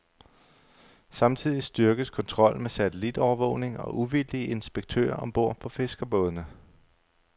Samtidig styrkes kontrollen med satellitovervågning og uvildige inspektører om bord på fiskerbådene.